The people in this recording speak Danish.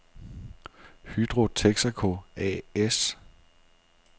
Hydro Texaco A/S